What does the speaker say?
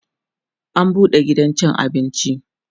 an buɗe gidan cin abinci